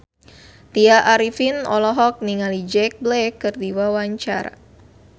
Tya Arifin olohok ningali Jack Black keur diwawancara